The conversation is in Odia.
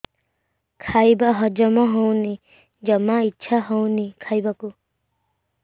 ଖାଇବା ହଜମ ହଉନି ଜମା ଇଛା ହଉନି ଖାଇବାକୁ